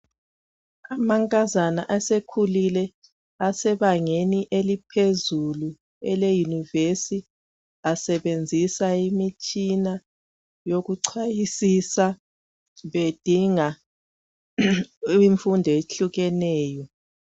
Amankazana asekhulile, asebangeni eliphezulu eleyunivesi asebenzisa imitshina yokuchayisisa bedinga imfundo ehlukeneyo.